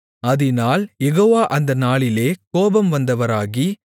அதினால் யெகோவா அந்த நாளிலே கோபம் வந்தவராகி